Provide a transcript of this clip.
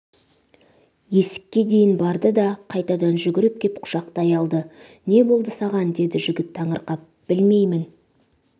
есікке дейін барды да қайтадан жүгіріп кеп құшақтай алды не болды саған деді жігіт таңырқап білмеймін